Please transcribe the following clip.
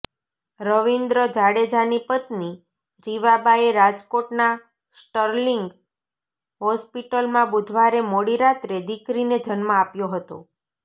રવિન્દ્ર જાડેજાની પત્ની રીવાબાએ રાજકોટના સ્ટર્લિંગ હોસ્પિટલમાં બુધવારે મોડી રાત્રે દિકરીને જન્મ આપ્યો હતો